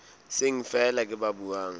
seng feela ke ba buang